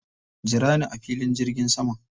Jira ni a filin jirgin saman.